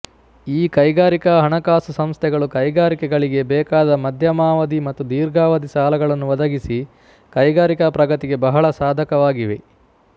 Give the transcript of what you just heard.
ಈ ಕೈಗಾರಿಕಾ ಹಣಕಾಸು ಸಂಸ್ಥೆಗಳು ಕೈಗಾರಿಕೆಗಳಿಗೆ ಬೇಕಾದ ಮಧ್ಯಮಾವಧಿ ಮತ್ತು ದೀರ್ಘಾವಧಿ ಸಾಲಗಳನ್ನು ಒದಗಿಸಿ ಕೈಗಾರಿಕಾ ಪ್ರಗತಿಗೆ ಬಹಳ ಸಾಧಕವಾಗಿವೆ